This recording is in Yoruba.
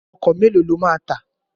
Ọkọ̀ mélòó ló máa tà?